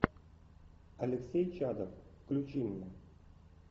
алексей чадов включи меня